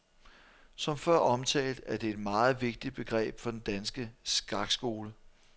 Som før omtalt er det et meget vigtigt begreb for den danske skakskole.